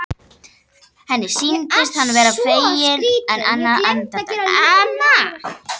Henni sýndist hann verða feginn en aðeins andartak.